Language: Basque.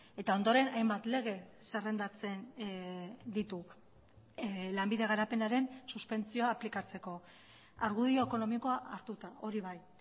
eta ondoren hainbat lege zerrendatzen ditu lanbide garapenaren suspentsioa aplikatzeko argudio ekonomikoa hartuta hori bai